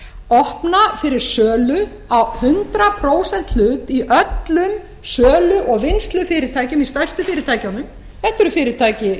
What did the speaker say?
opna fyrir sölu á hundrað prósent hlut í öllum sölu og vinnslufyrirtækjum í stærstu fyrirtækjunum þetta eru fyrirtæki